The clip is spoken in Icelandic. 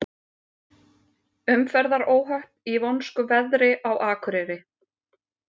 Umferðaróhöpp í vonskuveðri á Akureyri